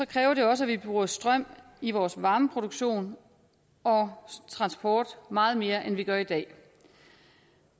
kræver det også at vi bruger strøm i vores varmeproduktion og transport meget mere end vi gør i dag